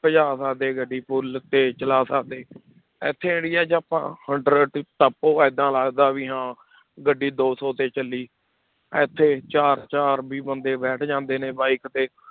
ਭਜਾ ਸਕਦੇ ਗੱਡੀ full ਤੇਜ਼ ਚਲਾ ਸਕਦੇ ਇੱਥੇ area 'ਚ ਆਪਾਂ hundred ਟੱਪੋ ਏਦਾਂ ਲੱਗਦਾ ਵੀ ਹਾਂ ਗੱਡੀ ਦੋ ਸੌ ਤੇ ਚੱਲੀ, ਇੱਥੇ ਚਾਰ ਚਾਰ ਵੀ ਬੰਦੇ ਬੈਠ ਜਾਂਦੇ ਨੇ bike ਤੇ